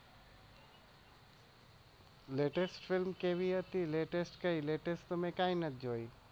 latest film કેવી હતી latest કાઈ નથી જોયી.